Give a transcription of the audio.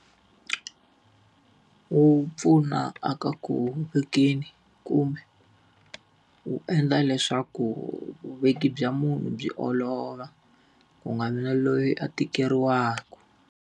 Wu pfuna a ka ku vekeni kumbe wu endla leswaku vuveki bya munhu byi olova. Ku nga vi na loyi a tekeriwaka.